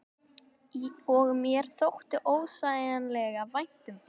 Og mér þótti ósegjanlega vænt um þær.